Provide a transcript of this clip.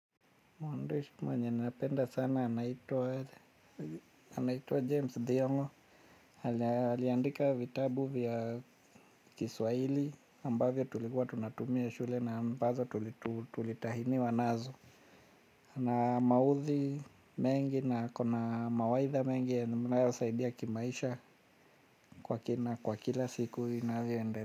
Mwandishi mwenye napenda sana anaitwa anaitwa James Thiong'o aliandika vitabu vya kiswahili ambavyo tulikuwa tunatumia shule na ambazo tulitahiniwa nazo. Hana mauthi mengi na ako na mawaidha mengi ya mnasaidia kimaisha kwa kina kwa kila siku inavyoindelea.